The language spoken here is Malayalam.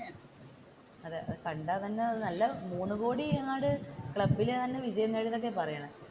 അതെ കണ്ടാൽ തന്നെ മൂന്ന് കോടി എങ്ങാണ്ട് ക്ലബ്ബിൽ വിജയം നേടി എന്നാണ് പറയുന്നത്.